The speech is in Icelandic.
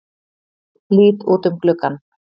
Lít út um gluggann.